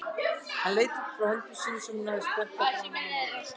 Hún leit upp frá höndum sínum sem hún hafði spenntar framan á maganum.